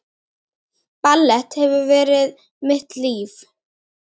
Ballett hefur verið mitt líf